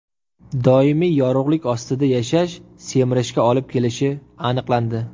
Doimiy yorug‘lik ostida yashash semirishga olib kelishi aniqlandi.